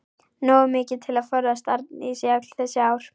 Nógu mikið til að forðast Arndísi öll þessi ár.